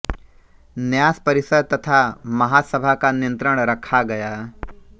न्यास परिषद तथा महासभा का नियंत्रण रखा गया